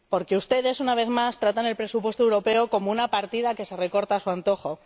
Porque ustedes, una vez más, tratan el presupuesto europeo como una partida que se recorta a su antojo.